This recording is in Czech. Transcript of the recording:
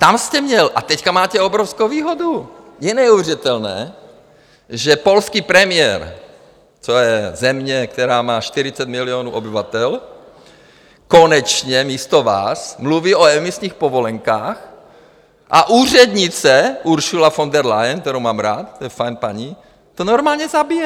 Tam jste měl - a teď máte obrovskou výhodu, je neuvěřitelné, že polský premiér, to je země, která má 40 milionů obyvatel, konečně místo vás mluví o emisních povolenkách a úřednice Ursula von der Leyen, kterou mám rád, to je fajn paní, to normálně zabije.